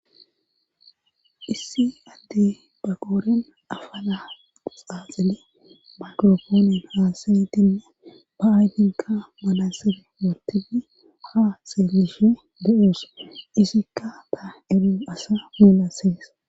issi adde ba qooren afala xaaxile maqrofooni haasa dinna ba7aydinka malasere motini haaseelishe do7us isikka ta erun asa mulassees